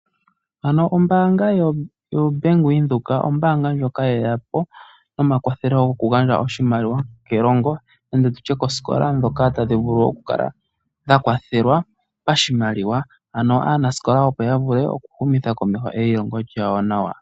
Ano ombaanga yoBank windhoek , ombaanga ndjoka yeya po nomakwatho goku gandja oshimaliwa kelongo nenge koosikola dhoka tadhi vulu okukala dha kwathelwa pashimaliwa. Ano aanasikola opo ya vule okuhumitha komeho eyilongo lyawo nawa.